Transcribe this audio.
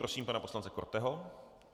Prosím pana poslance Korteho.